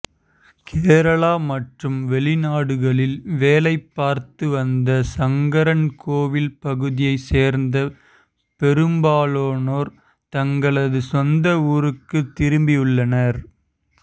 கேரளா மற்றும் வெளிநாடுகளில் வேலை பார்த்து வந்த சங்கரன்கோவில் பகுதியைச் சேர்ந்த பெரும்பாலானோர் தங்களது சொந்த ஊருக்குத் திரும்பியுள்ளனர்